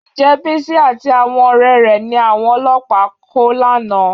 Ǹjẹ́ Bísí àti àwọn ọ̀rẹ́ rẹ̀ ni àwọn ọlọ́pàá kó lánàá?